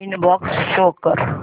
inbox show कर